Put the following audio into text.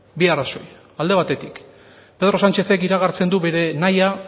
bi arrazoi alde batetik pedro sánchezek iragartzen du bere nahia